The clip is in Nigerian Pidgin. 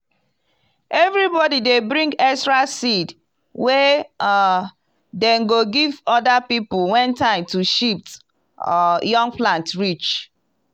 everybody dey bring extra seed wey um dem go give other people when time to shift um young plant reach.